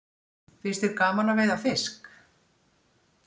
Finnst þér gaman að veiða fisk?